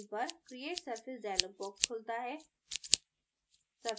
screen पर create surface dialog box खुलता है